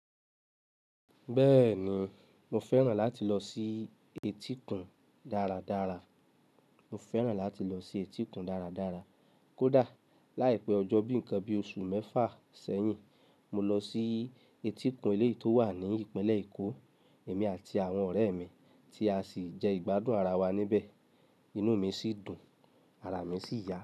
Bẹ́ẹ̀ni, mo fẹ́ràn láti lọ sí etíkun dáradára. Mo fẹ́ràn láti lọ sí etíkun dáradára. Kódà láìpẹ́ ọjọ́ bíi nǹkan bíi oṣù mẹ́fà sẹ́yìn, mo lọ sí etíkun ilé tó wà ní Ìpínlẹ̀ Èkó, èmi àti àwọn ọ̀rẹ́ mi tí a sì jẹ ìgbádùn ara wa níbẹ̀. Inú mi sì dùn, ara mi sì yá.